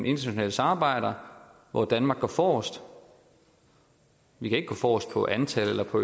internationale samarbejder hvor danmark går forrest vi kan ikke gå forrest på antal eller på